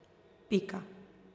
Pika.